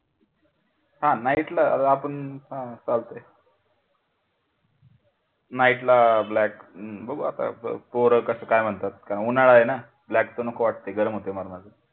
हा night ला आपण चालते night black ला black बघू आता पोरं कस काय म्हणतात उन्हाळा आहे ना black नको वाटते गरम होते माणूस अजून,